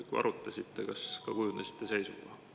Kui arutasite, siis kas kujundasite ka seisukoha?